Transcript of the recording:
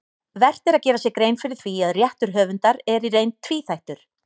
Vert er að gera sér grein fyrir því að réttur höfundar er í reynd tvíþættur.